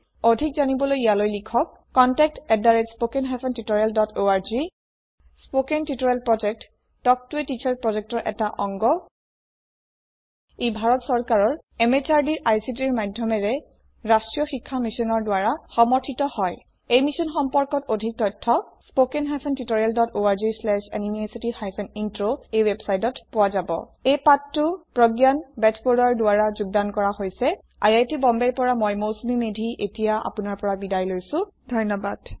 অধিক জনাৰ বাবে অনুগ্ৰহ কৰি ইয়াৈল িলখক contactspoken tutorialorg কথন শিক্ষণ প্ৰকল্প তাল্ক ত a টিচাৰ প্ৰকল্পৰ এটা অংগ ইয়াক national mission on education through ICT MHRD government of India ই পৃষ্ঠপোষকতা আগবঢ়াইছে এই মিশ্যন সম্পৰ্কত অধিক তথ্য spoken hyphen tutorial dot org slash এনএমইআইচিত হাইফেন ইন্ট্ৰ ৱেবচাইটত পোৱা যাব এই প্ৰশিক্ষণ প্ৰগয়ান বেজবৰুৱাৰ দ্ৱ্ৰৰা যুগ্দান কৰা হইচে মই মৌচুমি মেধি চাইন অফ কৰিচু সহযোগ কৰাৰ কাৰনে ধন্য়বাদ